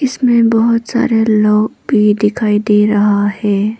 मे बहोत सारे लोग भी दिखाई दे रहा है।